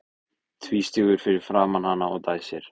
Tvístígur fyrir framan hana og dæsir.